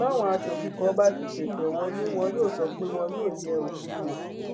báwọn aṣòfin kan bá ti ṣẹṣẹ wọlé wọn yóò sọ pé wọn yóò yẹ òfin wò